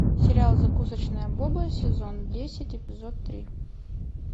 сериал закусочная боба сезон десять эпизод три